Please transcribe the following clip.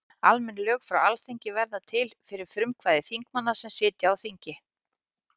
Almenn lög frá Alþingi verða til fyrir frumkvæði þingmanna sem sitja á þingi.